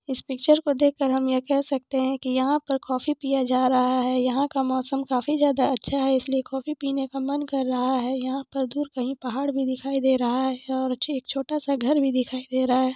Picture में देख कर हम यह कह सकते है की यहां पर काफ़ी पिया जा रहा है यहां का मौसम खाफी ज्यादा अच्छा है इसलिए कोफ़ी पिने का मन कर रहा है यहां पर दूर कहीं पहाड़ भी दिखाई दे रहा है और मुझे एक छोटा सा घर दिखाई दे रहा है।